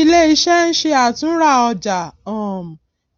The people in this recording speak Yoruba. iléiṣẹ ń ṣe àtúnrà ọjà um